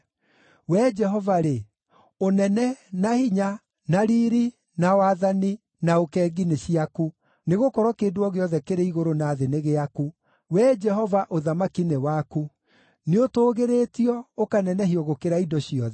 Wee Jehova-rĩ, ũnene, na hinya, na riiri, na wathani, na ũkengi nĩ ciaku, nĩgũkorwo kĩndũ o gĩothe kĩrĩ igũrũ na thĩ nĩ gĩaku. Wee Jehova, ũthamaki nĩ waku; nĩũtũũgĩrĩtio, ũkanenehio gũkĩra indo ciothe.